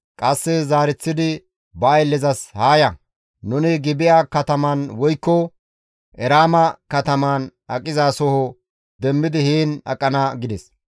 Qasse zaareththidi ba ayllezas, «Haa ya, nuni Gibi7a kataman woykko Eraama kataman aqizaso demmidi heen aqana» gides.